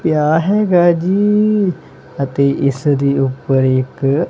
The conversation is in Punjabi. ਪਿਆ ਹੈਗਾ ਜੀ ਅਤੇ ਇਸਦੇ ਊਪਰ ਇੱਕ--